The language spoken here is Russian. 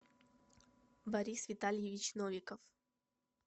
борис витальевич новиков